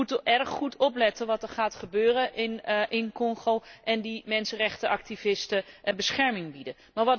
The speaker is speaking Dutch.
We moeten erg goed opletten wat er gaat gebeuren in Congo en de mensenrechtenactivisten bescherming bieden.